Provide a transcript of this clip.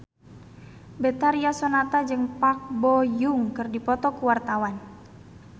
Betharia Sonata jeung Park Bo Yung keur dipoto ku wartawan